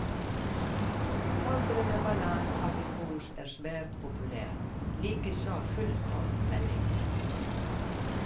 Havre med banan og aprikos er svært populær, likeså fullkornvelling.